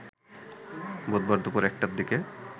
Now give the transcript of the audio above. বুধবার দুপুর ১টার দিকে